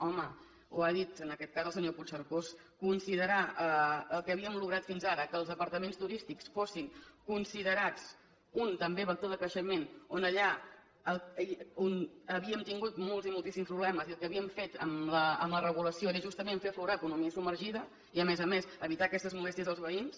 home ho ha dit en aquest cas el senyor puigcercós considerar el que havíem aconseguit fins ara que els departaments turístics fossin considerats un també vector de creixement on allà havíem tingut molts i moltíssims problemes i el que havíem fet amb la regulació era justament fer aflorar economia submergida i a més a més evitar aquestes molèsties als veïns